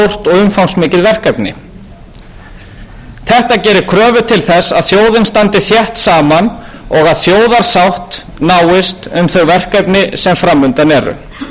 umfangsmikið verkefni þetta gerir kröfu til þess að þjóðin standi þétt saman og að þjóðarsátt náist um þau verkefni sem framundan eru það er miður ef nægur þingstyrkur er fyrir máli af þessu tagi sem felur í